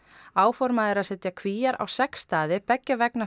áformað er að setja Kvíar á sex staði beggja vegna